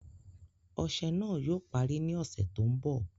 Ọṣẹ̀ náà yóò pàrí ní ọṣẹ̀ tó nbọ̀.